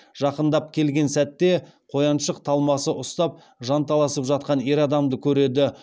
жақындап келген сәтте қояншық талмасы ұстап жанталасып жатқан ер адамды көреді